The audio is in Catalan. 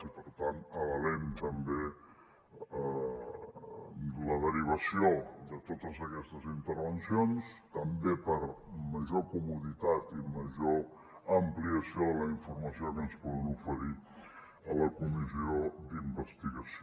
i per tant avalem també la derivació de totes aquestes intervencions també per major comoditat i major ampliació de la informació que ens poden oferir a la comissió d’investigació